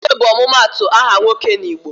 Okeke bụ ọmụmaatụ aha nwoke n'Igbo.